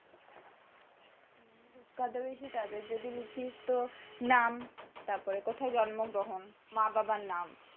বিখ্যাত বেশি তাদের যদি লিখিস তো, নাম তারপরে কোথায় জন্মগ্রহণ মা বাবার নাম।